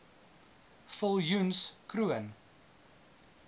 viljoenskroon